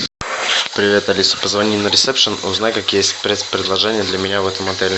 привет алиса позвони на ресепшн узнай какие спецпредложения для меня в этом отеле